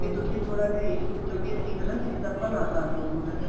B ਤੁਸੀਂ ਥੋੜਾ ਜਾ ਇਹ ਸੋਚੋ ਕੀ ਅਸੀਂ ਹਨਾ ਕਿਸੇ ਦਾ ਭਲਾ ਕਰਲੋ ਥੋੜਾ ਜਾ